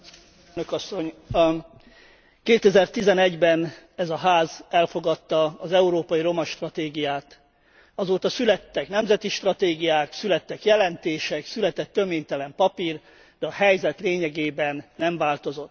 2011 ben ez a Ház elfogadta az Európai Roma Stratégiát. Azóta születtek nemzeti stratégiák, születtek jelentések, született töménytelen papír, de a helyzet lényegében nem változott.